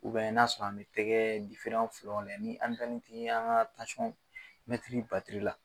n'a sɔrɔ an bɛ tɛgɛ fɔlɔ layɛ ni tansɔn mɛtiri batiri la.